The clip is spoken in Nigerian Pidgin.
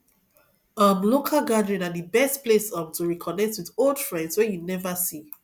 um local gathering na the best place um to reconnect with old friends wey you never see